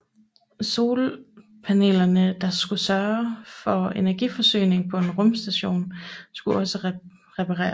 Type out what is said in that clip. Solpanelerne der skulle sørge for energiforsyningen på rumstationen skulle også repareres